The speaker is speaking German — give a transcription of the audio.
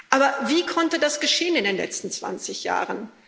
Aber wie konnte das geschehen in den letzten 20 Jahren?